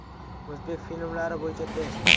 O‘zbek filmlari bo‘yicha test.